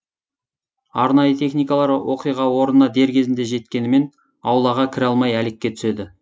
арнайы техникалар оқиға орнына дер кезінде жеткенімен аулаға кіре алмай әлекке түседі